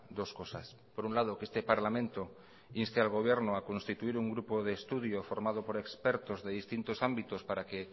dos cosas por un lado que este parlamento inste al gobierno a constituir un grupo de estudio formado por expertos de distintos ámbitos para que